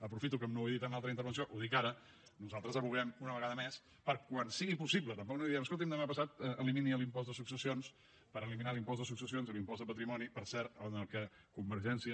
aprofito que no ho he dit en l’altra intervenció per dir ho ara advoquem una vegada més per a quan sigui possible tampoc no direm escolti’m demà passat elimini l’impost de successions per eliminar l’impost de successions i l’impost de patrimoni per cert en què convergència